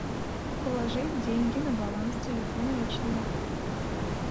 положить деньги на баланс телефона личного